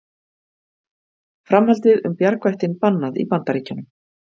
Framhaldið um bjargvættinn bannað í Bandaríkjunum